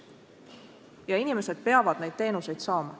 Ja inimesed peavad neid teenuseid saama.